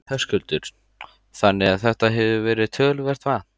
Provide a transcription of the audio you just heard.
Höskuldur: Þannig að þetta hefur verið töluvert vatn?